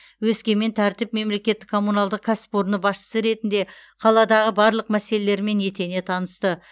өскемен тәртіп мемлекеттік коммуналдық кәсіпорны басшысы ретінде қаладағы барлық мәселелермен етене танысты